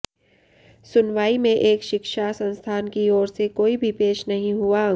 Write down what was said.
सुनवाई में एक शिक्षा संस्थान की ओर से कोई भी पेश नहीं हुआ